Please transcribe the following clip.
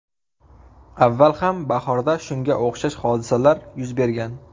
Avval ham bahorda shunga o‘xshash hodisalar yuz bergan.